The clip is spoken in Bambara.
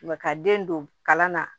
Mɛ ka den don kalan na